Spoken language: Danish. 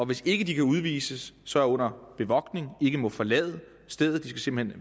hvis ikke de kan udvises så er under bevogtning og ikke må forlade stedet de skal simpelt